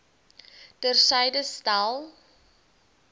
ter syde stel